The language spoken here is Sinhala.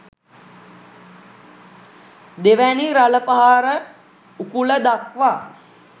දෙවැනි රළ පහර උකුල දක්වා